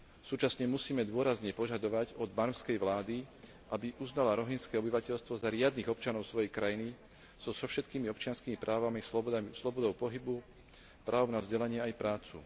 Súčasne musíme dôrazne požadovať od barmskej vlády, aby uznala rohingské obyvateľstvo za riadnych občanov svojej krajiny so všetkými občianskymi právami, slobodou pohybu, právom na vzdelanie aj prácu.